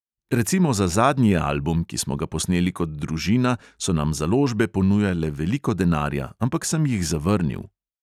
Recimo za zadnji album, ki smo ga posneli kot družina, so nam založbe ponujale veliko denarja, ampak sem jih zavrnil.